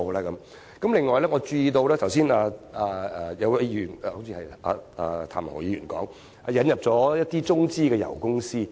此外，剛才有一位議員——好像是譚文豪議員——提及香港引入了一些中資油公司。